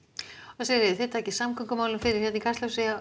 Sigríður þið takið samgöngumálin fyrir í Kastljósi